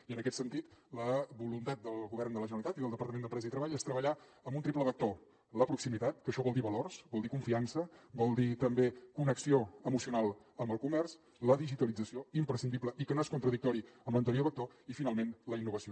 i en aquest sentit la voluntat del govern de la generalitat i del departament d’empresa i treball és treballar amb un triple vector la proximitat que això vol dir valors vol dir confiança vol dir també connexió emocional amb el comerç la digitalització imprescindible i que no és contradictòria amb l’anterior vector i finalment la innovació